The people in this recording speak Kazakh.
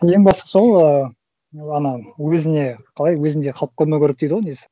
ең бастысы ол ы ана өзіне қалай өзінде қалып қоймау керек дейді ғой негізі